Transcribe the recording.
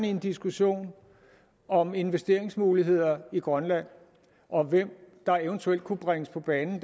i en diskussion om investeringsmuligheder i grønland og om hvem der eventuelt kunne bringes på banen